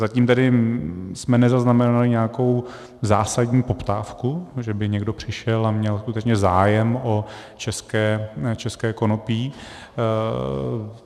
Zatím tedy jsme nezaznamenali nějakou zásadní poptávku, že by někdo přišel a měl skutečně zájem o české konopí.